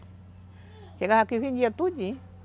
Chegava aqui e vendia tudinho.